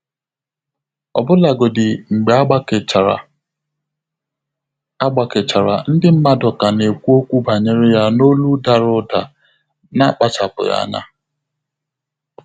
Ọ́bụ́làgọ́dị́ mgbè ágbàkéchàrà, ágbàkéchàrà, ndị́ mmàdụ̀ kà nà-ékwú ókwú bànyèrè yá n’ólú dàrà ụ̀dà nà-ákpàchàpụ́ ányá.